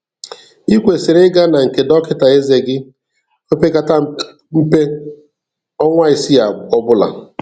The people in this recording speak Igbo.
I kwesịrị ịga na nke dọkịta eze gị opekata mpe ọnwa isii ọbụla.